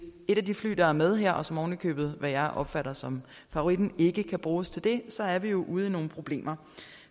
et af de fly der er med her og som oven i købet hvad jeg opfatter som favoritten ikke kan bruges til det så er vi ude i nogle problemer